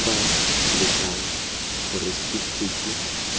gongwe b letlang gore setifikeiti